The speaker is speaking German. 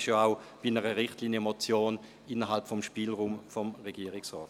Bei einer Richtlinienmotion liegt dies auch innerhalb des Spielraums des Regierungsrates.